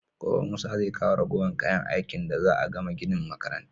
Gobe musa zai kawo ragowar kayan aikin da za'a gama ginin makarantar